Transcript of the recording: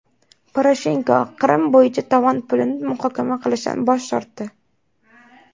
Poroshenko Qrim bo‘yicha tovon pulini muhokama qilishdan bosh tortdi.